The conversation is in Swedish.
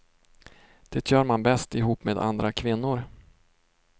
Det gör man bäst ihop med andra kvinnor.